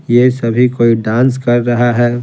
ये सभी कोई डांस कर रहा है।